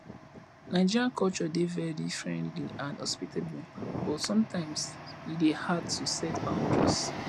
nigerian culture dey very friendly and hospitable but sometimes e dey hard to set boundaries